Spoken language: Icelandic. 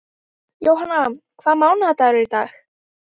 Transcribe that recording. Jóanna, hvaða mánaðardagur er í dag?